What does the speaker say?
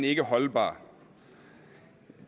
ikke holdbar